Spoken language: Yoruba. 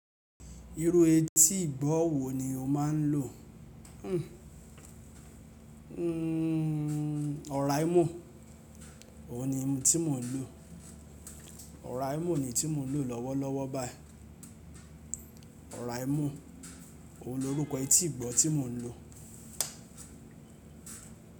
Irú etí ìgbọ̀ wo ni o máa ń lò? Hmm, hmm, Oraimo, òun ni mi tí mò ń lò. Oraimo ni iyi tí mò ń lò lọ́wọ́lọ́wọ́ báyìí. Oraimo, òun lorúkọ etí ìgbọ̀ tí mò ń lò.